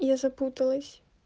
я запуталась